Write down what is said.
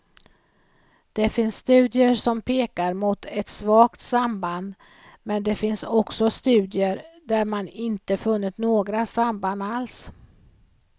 Det finns studier som pekar mot ett svagt samband men det finns också studier, där man inte funnit några samband alls.